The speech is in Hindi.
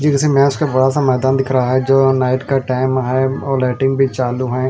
यह किसी मेच का बड़ा सा मैदान दिख रहा है जो नाईट का टाइम है और लाइटिंग भी चालु है।